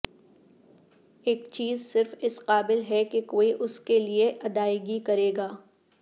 ایک چیز صرف اس قابل ہے کہ کوئی اس کے لئے ادائیگی کرے گا